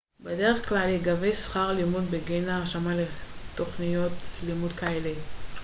בדרך כלל ייגבה שכר לימוד בגין ההרשמה לתוכניות לימוד כאלו